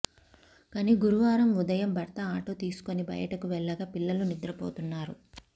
కానీ గురువారం ఉదయం భ ర్త ఆటో తీసుకుని బయటకు వెళ్లగా పి ల్లలు నిద్ర పోతున్నారు